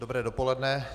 Dobré dopoledne.